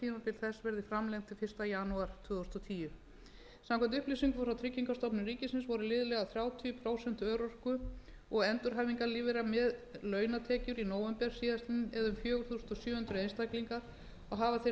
verði framlengt til fyrsta janúar tvö þúsund og tíu samkvæmt upplýsingum frá tryggingastofnun ríkisins voru liðlega þrjátíu prósent örorku og endurhæfingarlífeyrisþega með launatekjur í nóvember síðastliðnum eða um fjögur þúsund sjö hundruð einstaklingar og hafa þeir